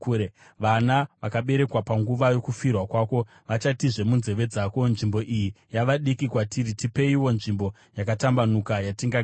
Vana vakaberekwa panguva yokufirwa kwako vachatizve munzeve dzako, ‘Nzvimbo iyi yava diki kwatiri: tipeiwo nzvimbo yakatambanuka yatingagara.’